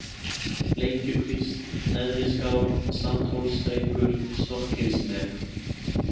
Bleikjukvísl, Neðriskál, Sandhólsstrengur, Stokkhylsnef